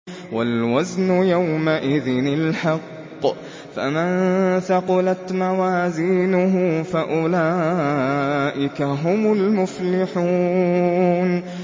وَالْوَزْنُ يَوْمَئِذٍ الْحَقُّ ۚ فَمَن ثَقُلَتْ مَوَازِينُهُ فَأُولَٰئِكَ هُمُ الْمُفْلِحُونَ